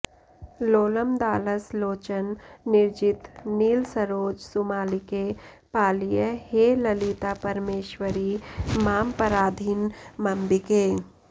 लोलमदालस लोचन निर्जित नीलसरोज सुमालिके पालय हे ललितापरमेश्वरि मामपराधिनमम्बिके